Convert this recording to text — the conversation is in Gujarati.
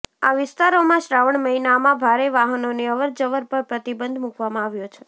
આ વિસ્તારોમાં શ્રાવણ મહિનામાં ભારે વાહનોની અવરજવર પર પ્રતિબંધ મુકવામાં આવ્યો છે